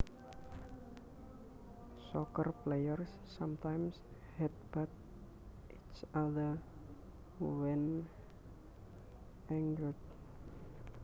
Soccer players sometimes headbutt each other when angered